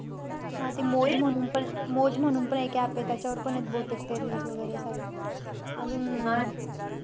हा ते मौज म्हणूनपण~ मौज म्हणूनपण एक app हे. त्याच्यावर पण आहेत बहुतेक त्या reels वैगेरे. अजून,